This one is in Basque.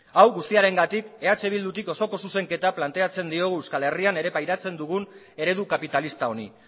hau guztiarengatik eh bildutik osoko zuzenketa planteatzen diogu euskal herrian ere pairatzen dugun eredu kapitalista honi